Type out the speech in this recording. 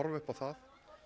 upp á það